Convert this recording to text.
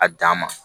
A dan ma